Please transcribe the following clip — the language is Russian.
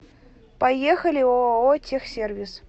поехали ооо техсервис